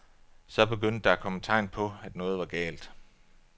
Så begyndte der at komme tegn på, at noget var galt.